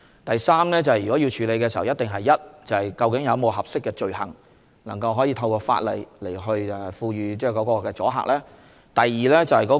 第三，如果要處理這問題，首先一定是究竟有否合適的罪行，能夠透過法例產生阻嚇作用呢？